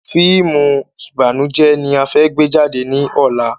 Fíìmù ìbànújẹ ni a fẹ́ gbé jáde ní ọ̀la